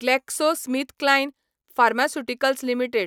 GlaxoSmithKline pharmaceuticals limited